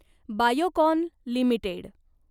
Biocon limited